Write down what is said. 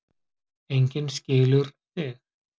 Enginn skilur þig.